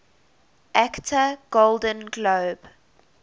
actor golden globe